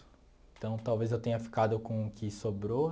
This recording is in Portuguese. Então, talvez eu tenha ficado com o que sobrou.